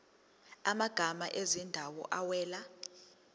amagama ezindawo awela